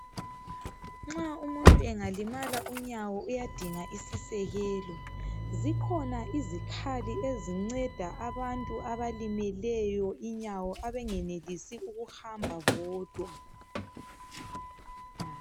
Nxa umuntu engalimala unyawo uyadinga isisekelo, zikhona izikhali ezinceda abantu abalimeleyo inyawo abangenelisi ukuhamba bodwa.